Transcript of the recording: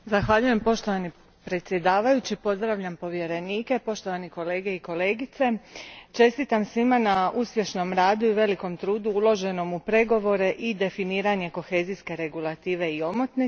Poštovani predsjedavajući, pozdravljam povjerenike, poštovani kolege i kolegice, čestitam svima na uspješmom radu i velikom trudu uloženom u pregovore i definiranje kohezijske Regulative i omotnice.